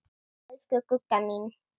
Elsku Gugga mín.